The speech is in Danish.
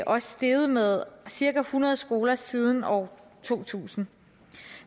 også steget med cirka hundrede skoler siden år to tusind